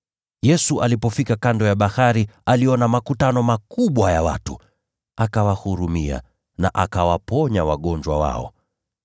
Yesu alipofika kando ya bahari, aliona makutano makubwa ya watu, akawahurumia na akawaponya wagonjwa wao.